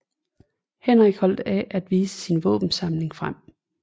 Henrik holdt af at vise sin våbensamling frem